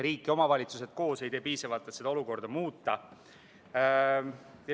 Riik ja omavalitsused koos ei tee piisavalt, et seda olukorda muuta.